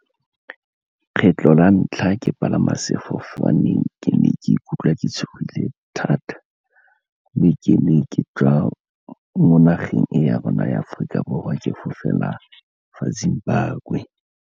Kgetlho la ntlha ke palama sefofane ke ne ke ikutlwa ke tshogile thata, mme ke ne ke tswa mo nageng ya rona ya Aforika Borwa ke fofela kwa Zimbabwe.